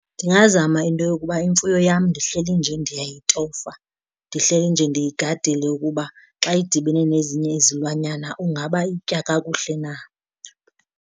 Ndingazama into yokuba imfuyo yam ndihleli nje ndiyayitofa, ndihleli nje ndiyigadile ukuba xa idibene nezinye izilwanyana ungaba itya kakuhle na.